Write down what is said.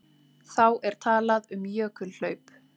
Þá er talað um jökulhlaup.